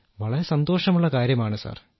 വളരെ സന്തോഷമുള്ള കാര്യമാണ് സർ